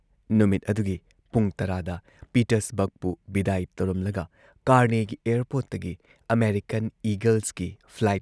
ꯅꯨꯃꯤꯠ ꯑꯗꯨꯒꯤ ꯄꯨꯡ ꯱꯰ꯗ ꯄꯤꯇꯔꯁꯕꯔꯒꯄꯨ ꯕꯤꯗꯥꯏ ꯇꯧꯔꯝꯂꯒ ꯀꯥꯔꯅꯦꯒꯤ ꯑꯦꯌꯔꯄꯣꯔꯠꯇꯒꯤ ꯑꯃꯦꯔꯤꯀꯟ ꯏꯒꯜꯁꯀꯤ ꯐ꯭ꯂꯥꯏꯠ